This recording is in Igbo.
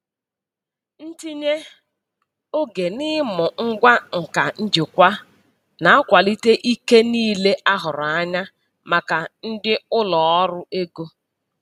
Ntinye oge n'ịmụ ngwa nka njikwa na-akwalite ike niile a hụrụ anya maka ndị ụlọ ọrụ ego.